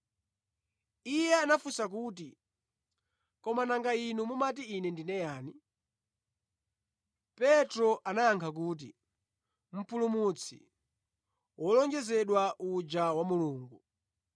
Iye anafunsa kuti, “Koma nanga inu mumati Ine ndine yani?” Petro anayankha kuti, “Mpulumutsi wolonjezedwa uja wa Mulungu.”